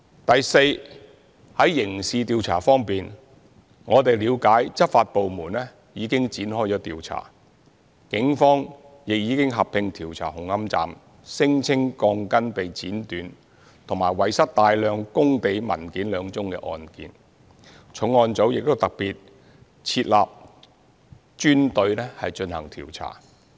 第四，在刑事調查方面，我們了解執法部門已展開調查，警方亦已合併調查紅磡站聲稱鋼筋被剪短及遺失大量工地文件兩宗案件，重案組亦特別設立專隊進行調查。